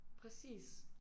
Præcis